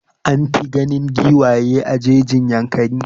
An fi ganin giwaye a jejin Yankari.